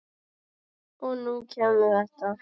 Og nú kemur þetta.